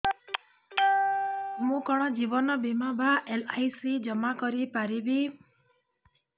ମୁ କଣ ଜୀବନ ବୀମା ବା ଏଲ୍.ଆଇ.ସି ଜମା କରି ପାରିବି